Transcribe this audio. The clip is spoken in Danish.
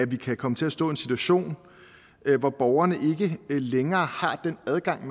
vi komme til at stå i en situation hvor borgerne ikke længere har den adgang